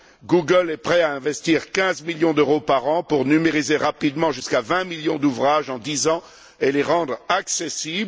Google est prêt à investir 15 millions d'euros par an pour numériser rapidement jusqu'à 20 millions d'ouvrages en dix ans et les rendre accessibles.